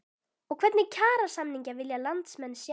Og hvernig kjarasamninga vilja landsmenn sjá?